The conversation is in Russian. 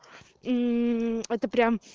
это прям